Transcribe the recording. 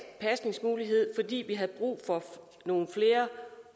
pasningsmulighed fordi vi havde brug for nogle flere